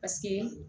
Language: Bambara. Paseke